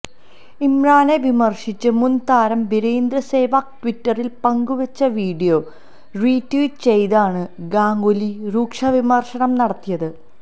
ഇമ്രാനെ വിമർശിച്ച് മുൻ താരം വീരേന്ദർ സേവാഗ് ട്വിറ്ററിൽ പങ്കുവച്ച വിഡിയോ റീട്വീറ്റ് ചെയ്താണ് ഗാംഗുലി രൂക്ഷ വിമർശനം നടത്തിയത്